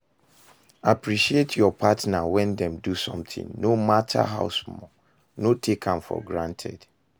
Appreciate your partner when dem do something no matter how small, no take am for granted